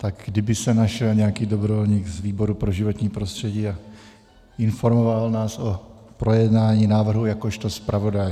Tak kdyby se našel nějaký dobrovolník z výboru pro životní prostředí a informoval nás o projednání návrhu jakožto zpravodaj.